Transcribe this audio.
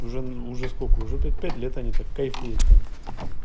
уже уже сколько уже п пять лет они так кайфуют там